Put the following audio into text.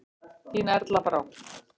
Þín Erla Brá.